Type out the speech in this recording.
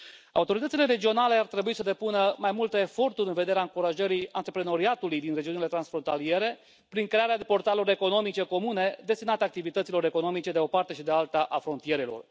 Autoritățile regionale ar trebui să depună mai multe eforturi în vederea încurajării antreprenoriatului din regiunile transfrontaliere prin crearea de portaluri electronice comune destinate activităților economice de o parte și de alta a frontierelor.